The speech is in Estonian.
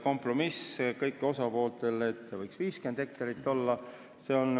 Kompromiss kõigile osapooltele oli, et väikesüsteemi maa-ala ei tohi ületada 50 hektarit.